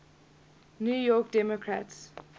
new york democrats